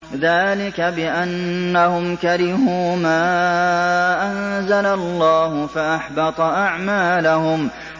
ذَٰلِكَ بِأَنَّهُمْ كَرِهُوا مَا أَنزَلَ اللَّهُ فَأَحْبَطَ أَعْمَالَهُمْ